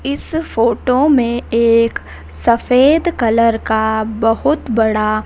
इस फोटो में एक सफेद कलर का बहुत बड़ा--